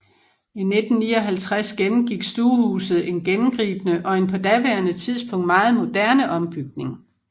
I 1959 gennemgik stuehuset en gennemgribende og en på daværende tidspunkt meget moderne ombygning